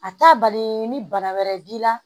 A t'a bali ni bana wɛrɛ b'i la